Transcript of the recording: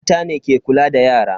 Mata ne ke kula da yara.